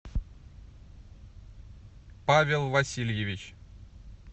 павел васильевич